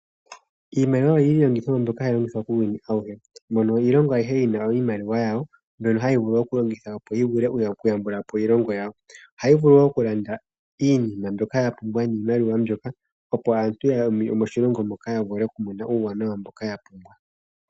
Iimaliwa iilongitho mbyoka hayi longithwa uuyuni awuhe, mono iilongo ayihe yina iimaliwa yawo mbono hayi vulu okulongitha, opo yi yambulepo iilongo yawo. Ohayi vulu oku landa iinima mbyoka yapumbiwa oku landwa niimaliwa mbyoka, opo aantu yomoshilongo moka yavule okumona uuwanawa mboka ya pumbwa.